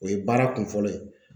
O ye baara kun fɔlɔ ye.